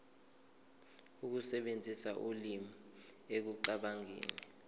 ukusebenzisa ulimi ekucabangeni